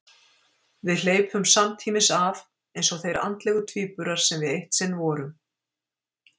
Við hleypum samtímis af, eins og þeir andlegu tvíburar sem við eitt sinn vorum.